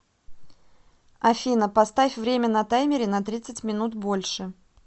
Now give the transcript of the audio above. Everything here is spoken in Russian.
афина поставь время на таймере на тридцать минут больше